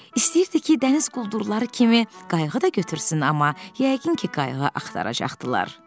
İstəyirdi ki, dəniz quldurları kimi qayığı da götürsün, amma yəqin ki, qayığı axtaracaqdılar.